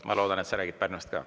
Ma loodan, et sa räägid Pärnust ka.